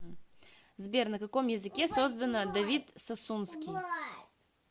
сбер на каком языке создано давид сасунский